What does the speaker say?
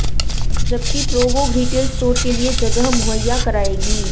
जबकि Provogue retail store के लिए जगह मुहैया कराएगी